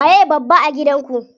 Waye babba a gidan ku?